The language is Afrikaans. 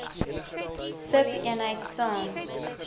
sub eenheid saam